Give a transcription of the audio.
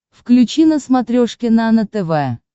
включи на смотрешке нано тв